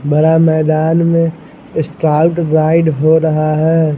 बड़ा मैदान में स्काउट गाईड हो रहा है।